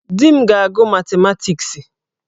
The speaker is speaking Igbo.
Di m ga-agụ matimatiksi.